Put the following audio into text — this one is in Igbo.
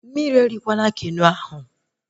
Mmiri erikwana Keno ahụ!